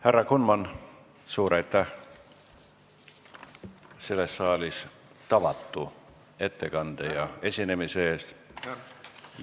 Härra Kunman, suur aitäh tavatu ettekande ja esinemise eest selles saalis!